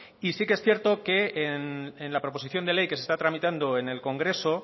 y sí que es cierto que en la proposición de ley que se está tramitando en el congreso